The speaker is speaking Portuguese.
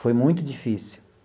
Foi muito difícil.